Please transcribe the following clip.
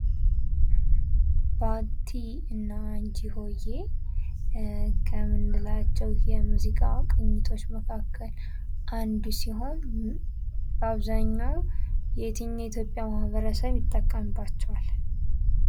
ባቲ እና አንችሆየ ከምንላቸው የሙዚቃ ቅኝቶች መካከል አንዱ ሲሆን በአብዘሃኛው የትኛው የኢትዮጵያ ማህበረሰብ ይጠቀምባቸዋል።